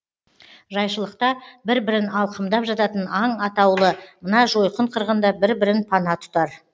жайшылықта бір бірін алқымдап жататын аң атаулы мына жойқын қырғында бір бірін пана тұтар